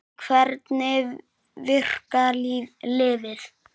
En hvernig virkar lyfið?